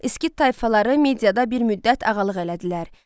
Skit tayfaları mediada bir müddət ağalıq elədilər.